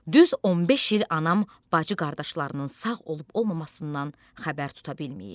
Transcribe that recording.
Düz 15 il anam bacı-qardaşlarının sağ olub-olmasından xəbər tuta bilməyib.